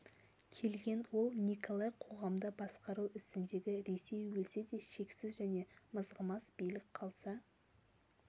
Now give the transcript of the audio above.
келген ол николай қоғамды басқару ісіндегі ресей өлсе де шексіз және мызғымас билік қалса